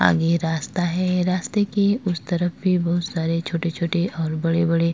आगे रास्ता है रास्तें के उस तरफ भी बहुत सारे छोटे छोटे और बड़े बड़े --